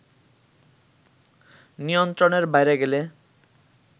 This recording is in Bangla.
নিয়ন্ত্রণের বাইরে গেলে